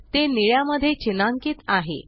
ते निळ्या मध्ये चिन्हांकीत आहे